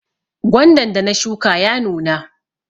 Gwandan da na shuka ya nuna.